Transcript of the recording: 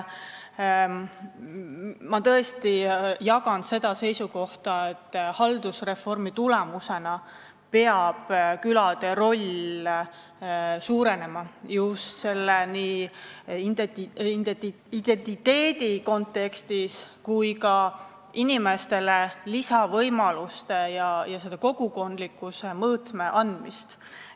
Ma tõesti jagan seda seisukohta, et haldusreformi tulemusena peab külade roll suurenema, nii identiteedi kontekstis kui ka inimestele lisavõimaluste ja kogukondlikkuse mõõtme andmise mõistes.